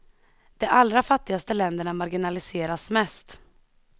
De allra fattigaste länderna marginaliseras mest.